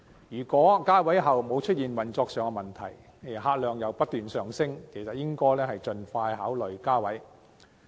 如果加位不會帶來運作上的問題，而客量又不斷上升，便應盡快考慮加位。